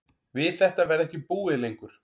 Við þetta verði ekki búið lengur